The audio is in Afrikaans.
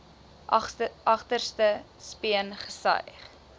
agterste speen gesuig